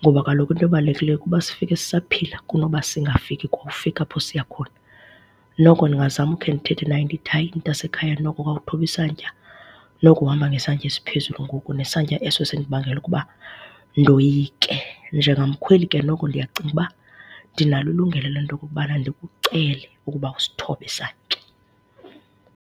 ngoba kaloku into ebalululekileyo kukuba sifike sisaphila kunoba singafiki kwa ufika apho siya khona. Noko ndingazama ukhe ndithethe naye ndithi, hayi, mntasekhaya, noko khawuthobe isantya, noko uhamba ngesantya esiphezulu ngoku nesantya eso sindibangela ukuba ndoyike. Njengamkhweli ke noko ndiyacinga uba ndinalo ilungelo le nto okokubana ndikucele ukuba usithobe isantya.